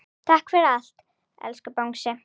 Takk fyrir allt, elsku Bangsi.